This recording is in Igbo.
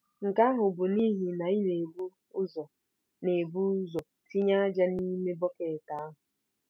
Nke ahụ bụ n'ihi na ị na-ebu ụzọ na-ebu ụzọ tinye ájá n'ime bọket ahụ.